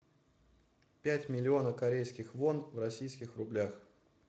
пять миллионов корейских вон в российских рублях